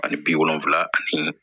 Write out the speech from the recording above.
Ani bi wolonfila ani